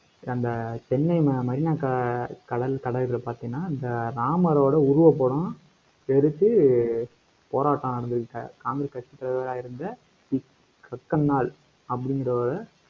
அந்த சென்னை மெரினா க~ கடல் கடல் பார்த்தீங்கன்னா, இந்த ராமரோட உருவப்படம் எரிச்சி போராட்டம் நடந்துருக்காக காங்கிரஸ் கட்சித் தலைவரா இருந்த அப்படிங்கறவரை